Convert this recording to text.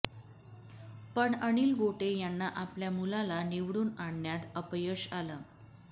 पण अनिल गोटे यांना आपल्या मुलाला निवडून आणण्यात अपयश आलं